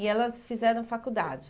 E elas fizeram faculdade?